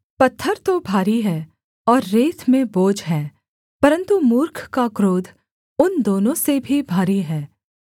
पत्थर तो भारी है और रेत में बोझ है परन्तु मूर्ख का क्रोध उन दोनों से भी भारी है